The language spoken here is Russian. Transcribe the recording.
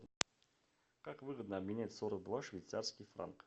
как выгодно обменять сорок два швейцарских франка